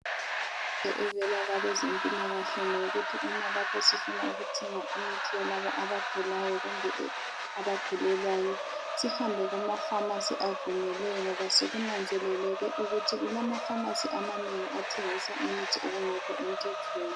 Imfundo evela kwabezempilakahle ngeyokuthi uma sifuna ukuthenga imithi yalabo abagulayo kumbe abagulelwayo sihambe kumapharmacy avunyelweyo ngoba sokunanzeleke ukuthi kulamaphamarcy amanengi atshengisa imithi okungekho emthethweni